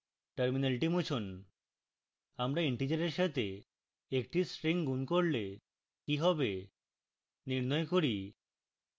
terminal মুছুন